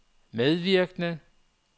medvirkende